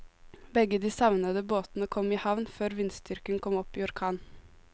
Begge de savnede båtene kom i havn før vindstyrken kom opp i orkan.